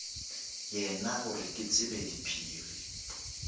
yena gore ke tsebe diphiri